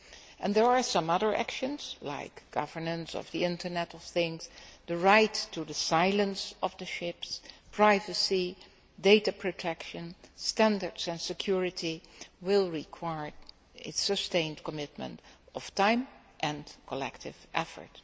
And there are some other actions like governance of the Internet of Things, the right to the silence of the ships, privacy, data protection, standards and security that will require a sustained commitment of time and of collective effort.